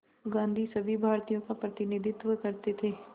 गांधी सभी भारतीयों का प्रतिनिधित्व करते थे